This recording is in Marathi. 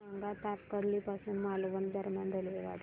सांगा तारकर्ली पासून मालवण दरम्यान रेल्वेगाडी